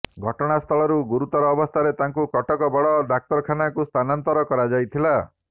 ଘଟଣାସ୍ଥଳରୁ ଗୁରୁତର ଅବସ୍ଥାରେ ତାଙ୍କୁ କଟକ ବଡ଼ ଡ଼ାକ୍ତରଖାନାକୁ ସ୍ଥାନାନ୍ତର କରାଯାଇଥିଲା